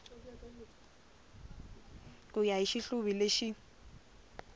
ku ya hi xihluvi lexi